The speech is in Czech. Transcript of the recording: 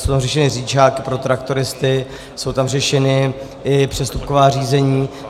Jsou tam řešeny řidičáky pro traktoristy, jsou tam řešena i přestupková řízení.